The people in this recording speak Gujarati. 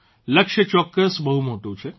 લક્ષ્ય ચોક્કસ બહુ મોટું છે